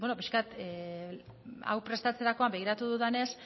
pixka bat hau prestatzerakoan begiratu dudanez